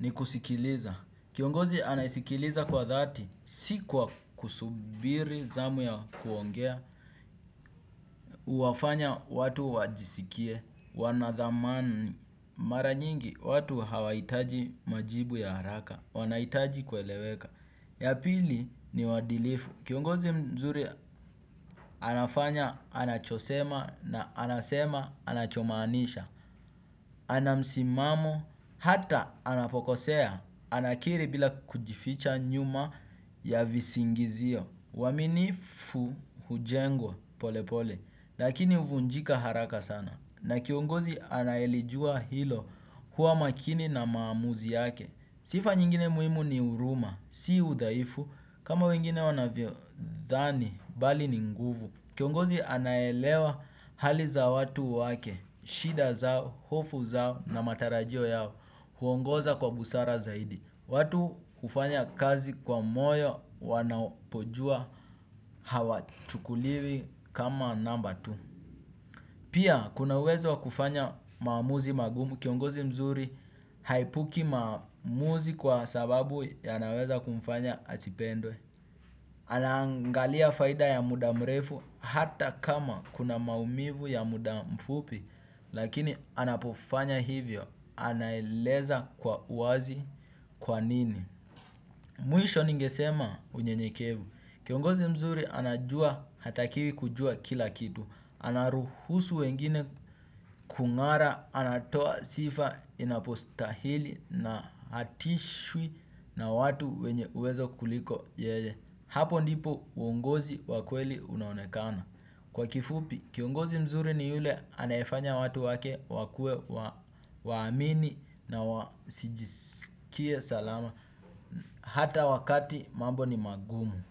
ni kusikiliza. Kiongozi anaisikiliza kwa dhati. Si kwa kusubiri zamu ya kuongea. Huwafanya watu wajisikie wanadhamani. Mara nyingi watu hawahitaji majibu ya haraka. Wanahitaji kueleweka. Yapili ni wadilifu, kiongozi mzuri anafanya, anachosema na anasema, anachomanisha, ana msimamo, hata anapokosea, anakiri bila kujificha nyuma ya visingizio uaminifu hujengwa pole pole, lakini huvunjika haraka sana, na kiongozi anayelijua hilo hua makini na maamuzi yake. Sifa nyingine muhimu ni uruma, si udaifu. Kama wengine wanavyo dhani, bali ni nguvu. Kiongozi anaelewa hali za watu wake, shida zao, hofu zao na matarajio yao huongoza kwa busara zaidi. Watu hufanya kazi kwa moyo wanapojua hawa chukuliwi kama namba tu. Pia kunawezo kufanya maamuzi magumu kiongozi mzuri haepuki maamuzi kwa sababu ya naweza kumfanya asipendwe. Anaangalia faida ya muda mrefu hata kama kuna maumivu ya muda mfupi lakini anapofanya hivyo anaeleza kwa uwazi kwa nini. Mwisho ningesema unyenyekevu. Kiongozi mzuri anajua hatakiwi kujua kila kitu. Anaruhusu wengine kung'ara anatoa sifa inapostahili na hatishwi na watu wenye uwezo kuliko yeye. Hapo ndipo uungozi wakweli unaonekana. Kwa kifupi, kiongozi mzuri ni yule anafanya watu wake wakue waamini na wasijisikie salama. Hata wakati mambo ni magumu.